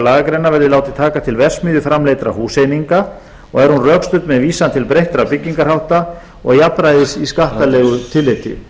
lagagreinar verði látin taka til verksmiðjuframleiddra húseininga og er hún rökstudd með vísan til breyttra byggingarhátta og jafnræðis í skattalegu tilliti